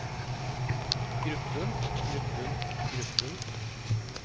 gruppen gruppen gruppen